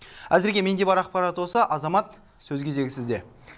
әзірге менде бар ақпарат осы азамат сөз кезегі сізде